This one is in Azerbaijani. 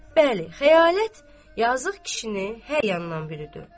Bəli, xəyalət yazıq kişini hər yandan bürüdü.